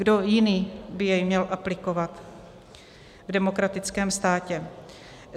Kdo jiný by jej měl aplikovat v demokratickém státě?